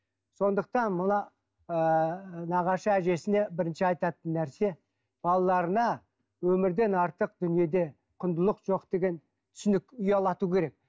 сондықтан мына ыыы нағашы әжесіне бірінші айтатын нәрсе балаларына өмірден артық дүниеде құндылық жоқ деген түсінік ұялату керек